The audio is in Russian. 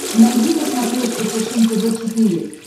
найди на смотрешке фэшен тв четыре к